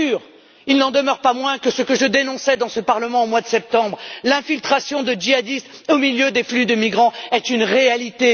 Mais il n'en demeure pas moins que ce que je dénonçais dans ce Parlement, au mois de septembre, à savoir l'infiltration de djihadistes au milieu des flux de migrants, est une réalité.